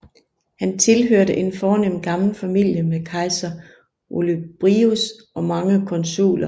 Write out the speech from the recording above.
Han tilhørte en fornem gammel familie med kejser Olybrius og mange konsuler